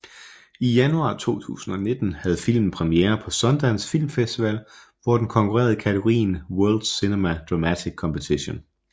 I januar 2019 havde filmen premiere på Sundance Film Festival hvor den konkurrerede i kategorien World Cinema Dramatic Competition